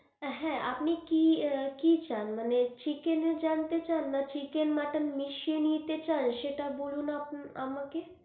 হ্যাঁ আপনি কি আহ কি চান মানে chicken জানতে চান না chicken মটন মিশিয়ে নিতে চান সেটা বলুন আপনা আমাকে.